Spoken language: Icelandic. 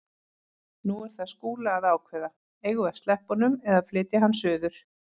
Nú er það Skúla að ákveða: Eigum við að sleppa honum eða flytja hann suður?